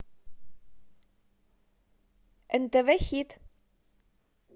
нтв хит